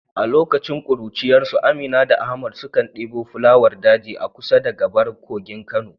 A lokacin kuruciyarsu Amina da Ahmad sukan debo fulawar daji a kusa da gabar kogin Kano.